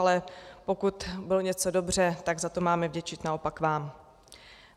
Ale pokud bylo něco dobře, tak za to máme vděčit naopak vám.